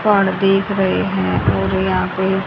पहाड़ देख रहे हैं और यहां पे--